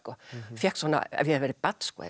fékk svona ef ég verið barn